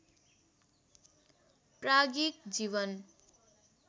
प्राज्ञिक जीवन